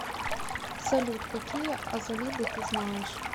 салют какие азалиды ты знаешь